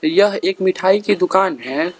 यह एक मिठाई की दुकान है।